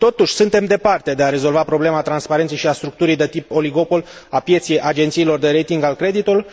Totuși, suntem departe de a rezolva problema transparenței și a structurii de tip oligopol a pieței agențiilor de rating al creditului.